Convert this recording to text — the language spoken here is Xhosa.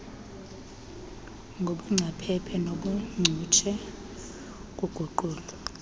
nobungcaphephe nobuncutshe kuguqulo